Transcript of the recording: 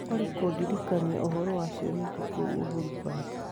Olly kũndirikania ũhoro wa cioneki kũũ uhuru park